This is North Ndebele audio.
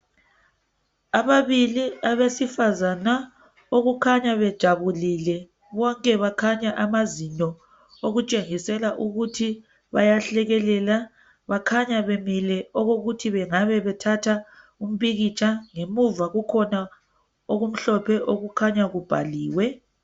ababili abesifazana okukhanya bejabulile bonke bakhanya amazinyo okutshengisela ukuthi bayahlekelela bakhanya bemile okokuthi bengabe bethatha umpikitsha ngemuva kukhona okumhlophe okukhanya kubhaliwe